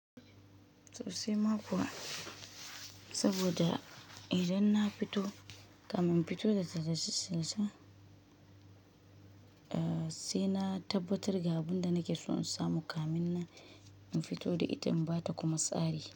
Tsose ma kuwa saboda idan na fito, kamin in fito da ta da shi sai na tabbatar ga abunda nake so in samu kamin na in fito da ita in bata kuma tsari.